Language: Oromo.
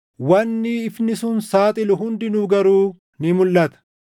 Wanni ifni sun saaxilu hundinuu garuu ni mulʼata;